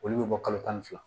Olu bɛ bɔ kalo tan ni fila